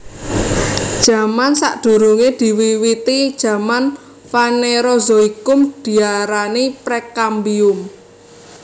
Zaman sadurungé diwiwiti zaman Fanerozoikum diarani Prekambium